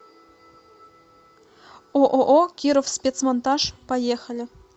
ооо кировспецмонтаж поехали